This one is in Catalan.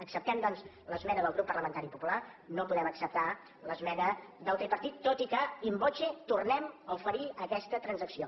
acceptem doncs l’esmena del grup parlamentari popular no podem acceptar l’esmena del tripartit tot i que in voce tornem a oferir aquesta transacció